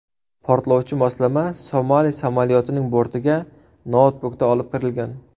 Portlovchi moslama Somali samolyotining bortiga noutbukda olib kirilgan.